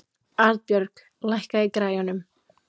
Arnbjörg, lækkaðu í græjunum.